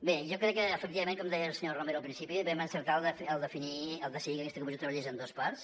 bé jo crec que efectivament com deia la senyora romero al principi vam encertar al decidir que aquesta comissió treballés en dues parts